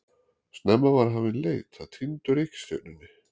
Snemma var hafin leit að týndu reikistjörnunni.